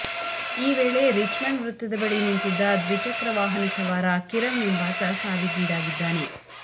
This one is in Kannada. ಈ ವೇಳೆ ರಿಚ್ಮಂಡ್ ವೃತ್ತದ ಬಳಿ ನಿಂತಿದ್ದ ದ್ವಿಚಕ್ರ ವಾಹನ ಸವಾರ ಕಿರಣ್ ಎಂಬಾತ ಸಾವಿಗೀಡಾಗಿದ್ದಾನೆ